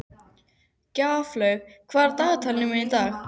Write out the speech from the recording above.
Gjaflaug, hvað er á dagatalinu mínu í dag?